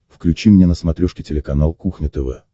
включи мне на смотрешке телеканал кухня тв